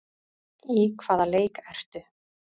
Í hvaða leik ertu?